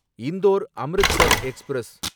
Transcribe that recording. Indore Amritsar express